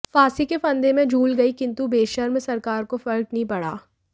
फांसी के फंदे में झूल गयी किंतु बेशर्म सरकार को फर्क नहीं पड़ा